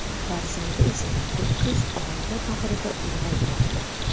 Farzandi esa to‘kis oila bag‘rida ulg‘aymoqda.